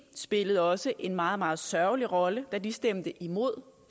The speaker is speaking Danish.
spillede også en meget meget sørgelig rolle da de stemte imod